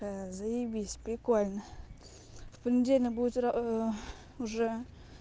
заебись прикольно в понедельник будет уже